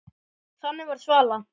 Þannig var Svala.